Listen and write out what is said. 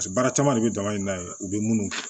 Paseke baara caman de bi daba in na yen u bɛ munnu kɛ